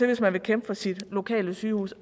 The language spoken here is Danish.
hvis man vil kæmpe for sit lokale sygehus